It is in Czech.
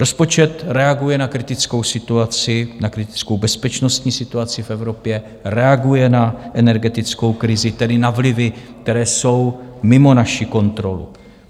Rozpočet reaguje na kritickou situaci, na kritickou bezpečnostní situaci v Evropě, reaguje na energetickou krizi, tedy na vlivy, které jsou mimo naši kontrolu.